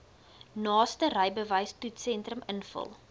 naaste rybewystoetssentrum invul